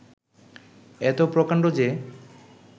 এত প্রকাণ্ড যে